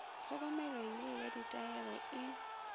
hlokomelo ye ya ditaere e